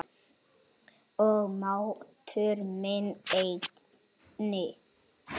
Og máttur minn einnig.